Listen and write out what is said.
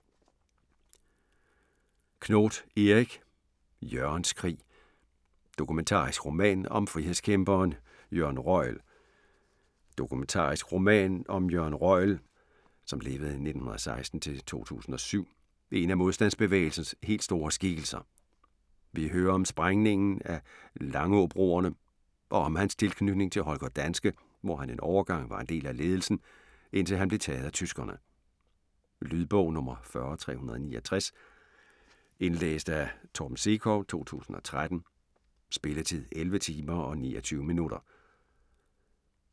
Knoth, Erik: Jørgens krig: dokumentarisk roman om frihedskæmperen Jørgen Røjel Dokumentarisk roman om Jørgen Røjel (1916-2007), en af modstandsbevægelsens helt store skikkelser. Vi hører om sprængningen af Langåbroerne, og om hans tilknytning til Holger Danske hvor han en overgang var en del af ledelsen, indtil han blev taget af tyskerne. Lydbog 40369 Indlæst af Torben Sekov, 2013. Spilletid: 11 timer, 29 minutter.